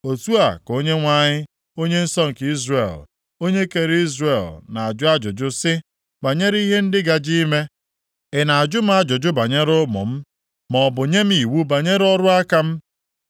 “Otu a ka Onyenwe anyị, Onye nsọ nke Izrel, Onye kere Izrel na-ajụ ajụjụ sị; banyere ihe ndị gaje ime ị na-ajụ m ajụjụ banyere ụmụ m, maọbụ nye m iwu banyere ọrụ aka m?